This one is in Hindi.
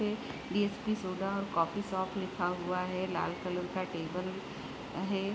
ये डी.एस.पी. सोडा कॉफी शॉप लिखा हुआ है लाल कलर का टेबल है।